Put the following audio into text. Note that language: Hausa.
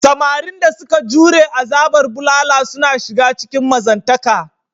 Samarin da suka jure azabar bulala suna shiga cikin mazantaka.